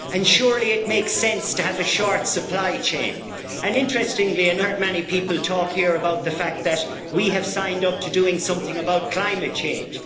Surely it makes sense to have a short supply chain and interestingly enough, I have not heard many people talk here about the fact that we have signed up to doing something about climate change.